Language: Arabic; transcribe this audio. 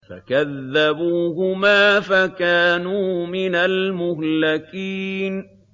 فَكَذَّبُوهُمَا فَكَانُوا مِنَ الْمُهْلَكِينَ